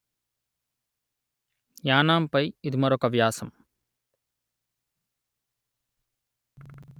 యానాం పై ఇది మరొక వ్యాసం